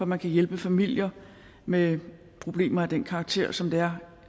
man kan hjælpe familier med problemer af den karakter som det er